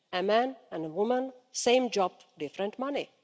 A man and a woman, same job, different money.